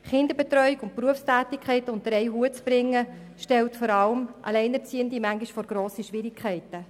Kinderbetreuung und Berufstätigkeit unter einen Hut zu bringen, stellt vor allem Alleinerziehende manchmal vor grosse Schwierigkeiten.